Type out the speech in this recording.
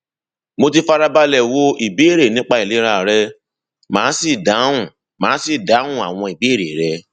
mo ti fara balẹ wo ìbéèrè nípa ìlera rẹ màá sì dáhùn màá sì dáhùn àwọn ìbéèrè rẹ